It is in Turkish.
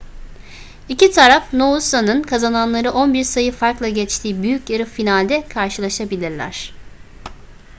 i̇ki taraf noosa'nın kazananları 11 sayı farkla geçtiği büyük yarı finalde karşılaşabilirler